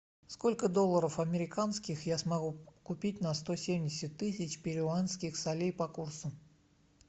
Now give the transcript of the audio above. сколько долларов американских я смогу купить на сто семьдесят тысяч перуанских солей по курсу